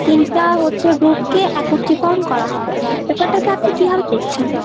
তিনটা হচ্ছে group কে একত্রীকরণ করা হবে , ব্যাপারটাকে আপনি কিভাবে দেখছেন?